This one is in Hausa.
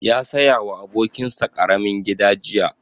Ya saya wa abokin sa ƙaramin gida jiya